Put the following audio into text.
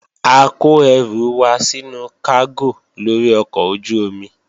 A kó ẹrù wa sínú kágò lórí ọkọ̀ ojú-omi